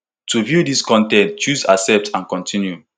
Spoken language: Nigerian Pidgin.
to view dis con ten t choose accept and continue